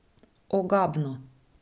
Ogabno.